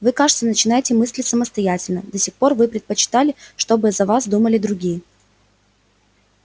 вы кажется начинаете мыслить самостоятельно до сих пор вы предпочитали чтобы за вас думали другие